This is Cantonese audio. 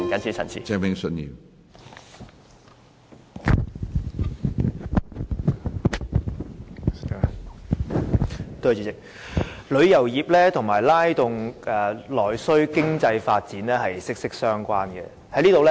主席，旅遊業與拉動內需、經濟發展是息息相關的。